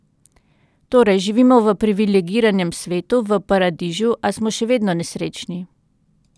Torej, živimo v privilegiranem svetu, v paradižu, a smo še vedno nesrečni.